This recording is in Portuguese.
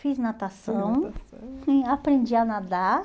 Fiz natação, sim, aprendi a nadar.